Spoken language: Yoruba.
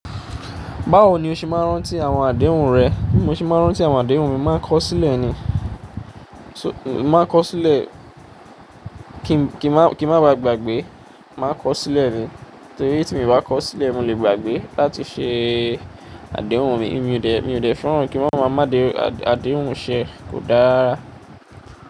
Báwo ni o ṣe máa ń rántí àwọn àdéhùn rẹ? Bí mo ṣe máa ń rántí àwọn àdéhùn mi, màá kọ sílẹ̀ ni. So-- màá kọ sílẹ̀ kí, kí, kí n má ba gbàgbé, màá kọ sílẹ̀ ni. Torí tí mo bá kọ sílẹ̀, mo lè gbàgbé láti ṣe àdéhùn mi. Èmi ò dẹ̀, èmi ò dẹ̀ fẹ́ràn kí wọ́n máa má dé, àdéhùn ṣe kò dára.